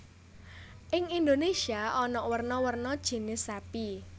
Ing Indonesia ana werna werna jinis sapi